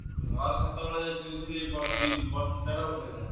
ମୋର ସେତେବେଳେ କିଣିଥିଲି ବ ଦି ବ ଦେଡ଼ ବର୍ଷ ହେଇଗଲାଣି।